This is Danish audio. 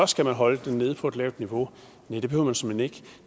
skal holde det nede på et lavt niveau næh det behøver man såmænd ikke